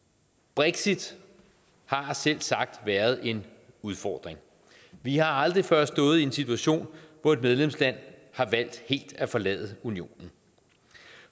brexit har selvsagt været en udfordring vi har aldrig før stået i en situation hvor et medlemsland har valgt helt at forlade unionen